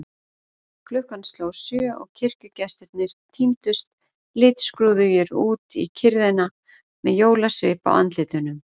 Klukkan sló sjö og kirkjugestirnir tíndust litskrúðugir út í kyrrðina með jólasvip á andlitunum.